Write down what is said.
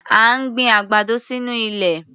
À ń gbin àgbàdo sínú ilẹ̀.